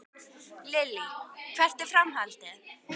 Lillý: Hvert er framhaldið?